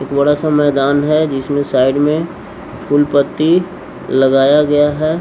थोडा सा मैदान है जिसमे साइड में फूलपत्ती लगाया गया है --